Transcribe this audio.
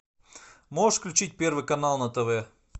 можешь включить первый канал на тв